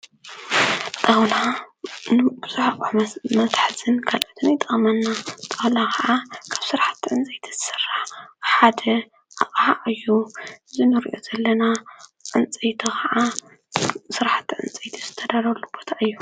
ጣውላ ንብዙሕ መትሕዝን ካልኦትን ይጠቕመና፡፡ ጣውላ ኸዓ ካብ ስራሕተ ዕንፀይቲ ዝስራሕ ሓደ ኣቕሓ እዩ እዚ ንሪኦ ዘለና ዕንፀይቲ ኸዓ ስራሕቲ ዕንፀይቲ ዝተደርደረሉ ቦታ እዩ፡፡